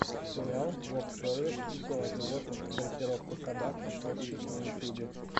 сериал воксервис все о животных дрессировка собак кошки на ютьюбе